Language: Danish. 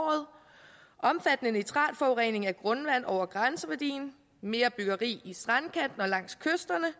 omfattende nitratforurening af grundvand over grænseværdien mere byggeri i strandkanten og langs kysterne